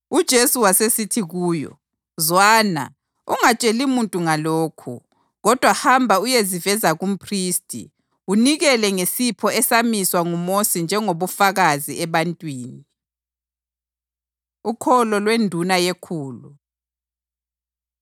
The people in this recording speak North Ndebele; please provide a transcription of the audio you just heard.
UJesu wasesithi kuyo, “Zwana, ungatsheli muntu ngalokhu. Kodwa hamba uyeziveza kumphristi, unikele ngesipho esamiswa nguMosi njengobufakazi ebantwini.” Ukholo LweNduna YeKhulu